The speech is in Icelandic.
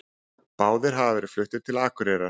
Báðir hafa verið fluttir til Akureyrar